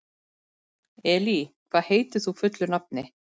Elí, hvað heitir þú fullu nafni?